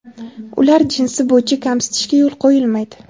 ularni jinsi bo‘yicha kamsitishga yo‘l qo‘yilmaydi.